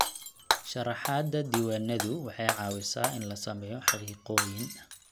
Sharaxaada diiwaanadu waxay caawisaa in la sameeyo xaqiiqooyin.